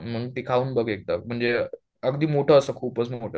मंग ते खाऊन बघ एकदा म्हणजे अगदी मोठं असतं, खूपच मोठं